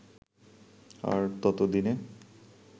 আর তত দিনে